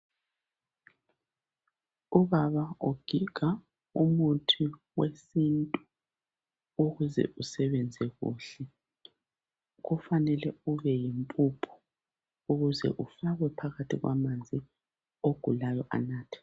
ubaba ogiga umuthi wesintu ukuze usebenze kuhle kufanele ube yimpuphu ukuze ufakwe phakathi kwamanzi ogulayo anathe